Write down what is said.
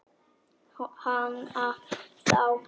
Hana þá.